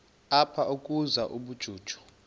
apha ukuzuza ubujuju